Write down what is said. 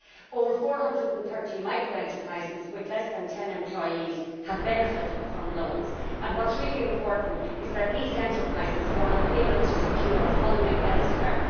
Over 430 microenterprises with fewer than ten employees have benefited from loans, and what is really important is that these enterprises were unable to secure funding elsewhere.